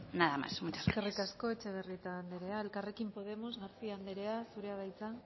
nada más muchas gracias eskerrik asko etxebarrieta anderea elkarrekin podemos garcía anderea zurea da hitza